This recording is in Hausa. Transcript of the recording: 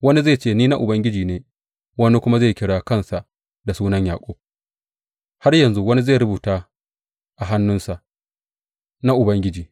Wani zai ce, Ni na Ubangiji ne’; wani kuma zai kira kansa da sunan Yaƙub; har yanzu wani zai rubuta a hannunsa, Na Ubangiji,’